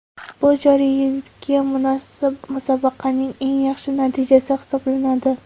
Bu joriy yilgi musobaqaning eng yaxshi natijasi hisoblanadi.